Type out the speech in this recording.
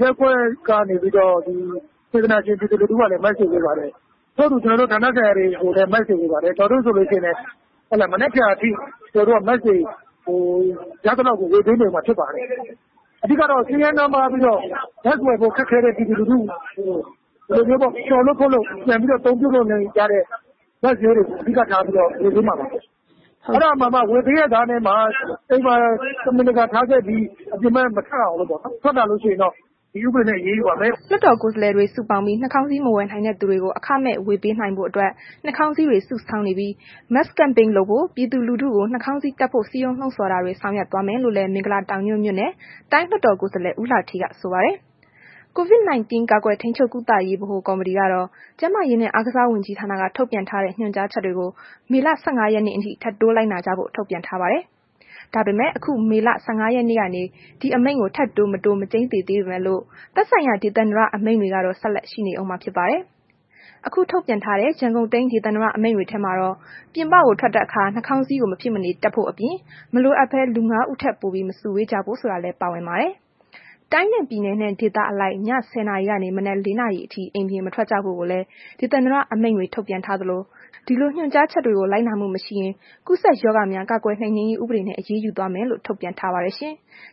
ရပ်ကွက်က စေတနာရှင် ပြည်သူလူထုကလည်း လိုက်ဝေပေးပါတယ်။ ထို့အတူ ဌာနဆိုင်ရာတွေကိုလည်း ကျနော်တို့ Mask တွေဝေပါတယ်။ မနက်ဖြန်အထိ ကျနောတို့ mask တွေကို ရသလောက် ဝေပေးနေအုံးမှာ ဖြစ်ပါတယ်။ အဓိကကတော့ ဆင်းရဲနွမ်းပါးပြီးတော့ Mask ဝယ်ဖို့ ခက်ခဲတဲ့ ပြည်သူလူထူကို လျှော်လို့ဖွတ်လို့ ပြန်ပြီးတော့ အသုံးပြုလို့ ရတဲ့ mask မျိုးတွေကို အဓိကထားပြီးတော့ ဝေပေးမှာပါ။ အဲ့ဒါမှာမှ ဝေပေးရဲ့သားနဲ့မှ အိမ်မှာ တမင်တကာထားခဲ့ပြီး အပြင်မထွက်အောင်ပေါ့နော်။ ထားခဲ့ပြီး ထွက်လာရင်တော့ ဒီဥပဒေနဲ့ အရေးယူပါမယ်။” လွှတ်တော်ကိုယ်စားလှယ်တွေ စုပေါင်းပြီး နှာခေါင်းစည်း မဝယ်နိုင်တဲ့သူတွေကို အခမဲ့ဝေပေးနိုင်ဖို့အတွက် နှာခေါင်းစည်းတွေ စုဆောင်းနေပြီး mask camping တွေ လုပ်ဖို့၊ ပြည်သူလူထုကို နှာခေါင်းစည်းတပ်ဖို့ စည်းရုံးလှုံဆော်တာတွေ ဆောင်ရွက်သွားမယ်လို့လည်း မဂ်လာတောင်ညွှန့်မြို့နယ် တိုင်းလွှတ်တော်ကိုယ်စားလှယ် ဦးလှဌေးက ဆိုပါတယ်။ COVID-19 ကာကွယ်ထိန်းချုပ်ကုသရေး ဗဟိုကော်မတီကတော့ ကျန်းမာရေးနဲ့ အားကစားဝန်ကြီး ဌာနက ထုတ်ပြန်ထားတဲ့ ညွှန်ကြားချက်တွေကို မေလ ၁၅ ရက်နေ့အထိ ထပ်တိုးလိုက်နာကြဖို့ ထုတ်ပြန်ထားပါတယ်။ ဒါပေမဲ့ အခု မေလ ၁၅ ရက်နေ့ကနေ ဒီအမိန့်ကို ထပ်တိုးမတိုး မကျိန်းသေပေမဲ့လို့ သက်ဆိုင်ရာ ဒေသန္တရအမိန့်တွေ ကတော့ ဆက်ရှိနေဦးမှာဖြစ်ပါတယ်။ အခု ထုတ်ပြန်တဲ့ ရန်ကုန်တိုင်း ဒေသန္တရအမိန့်ထဲမှာတော့ ပြင်ပထွက်တဲ့အခါ နှာခေါင်းစည်းကို မဖြစ်မနေ တပ်ဖို့အပြင် မလိုအပ်ဘဲ လူ ၅ ယောက် ထက်ပိုပြီး မစုဝေးဖို့ဆိုတာလည်း ပါဝင်ပါတယ်။ တိုင်းနှင့်ပြည်နယ်နဲ့ ဒေသအလိုက် ည ၁၀ နာရီကနေ မနက် ၄ နာရီအထိ အိမ်ပြင်မထွက်ကြဖို့ကိုလည်း ဒေသန္တရအမိန့်တွေ ထုတ်ပြန်ထားသလို ဒီလို ညွှန်ကြားချက်တွေကို လိုက်နာမှု မရှိရင် ကူးစက်ရောဂါများ ကာကွယ်နိုင်နင်းရေးဥပဒေနဲ့ အရေးယူသွားမယ်လို့ ထုတ်ပြန်ထားပါတယ်ရှင်။